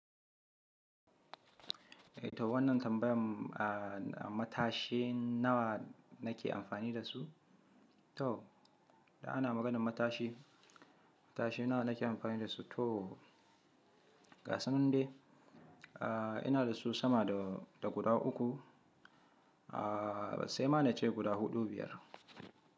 Eh to wannan tambayan Matashi nawa nake amfani dasu? To idan ana maganan matashi, matashi nawa na ke amfani da su? To gasu nan dai ina dasu sama da guda uku, sai ma nace guda huɗu biyar.